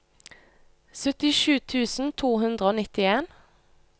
syttisju tusen to hundre og nittien